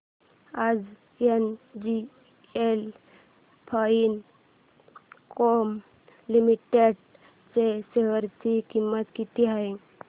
आज NGL Finechem limited share शेअर ची किंमत किती आहे